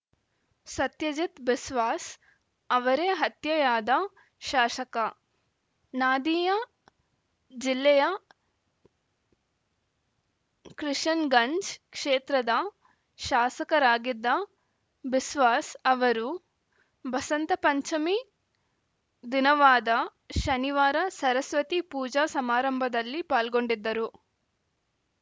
ಸತ್ಯಜಿತ್‌ ಬಿಸ್ವಾಸ್‌ ಅವರೇ ಹತ್ಯೆಯಾದ ಶಾಸಕ ನಾದಿಯಾ ಜಿಲ್ಲೆಯ ಕೃಷನ್‌ಗಂಜ್‌ ಕ್ಷೇತ್ರದ ಶಾಸಕರಾಗಿದ್ದ ಬಿಸ್ವಾಸ್‌ ಅವರು ಬಸಂತ ಪಂಚಮಿ ದಿನವಾದ ಶನಿವಾರ ಸರಸ್ವತಿ ಪೂಜಾ ಸಮಾರಂಭದಲ್ಲಿ ಪಾಲ್ಗೊಂಡಿದ್ದರು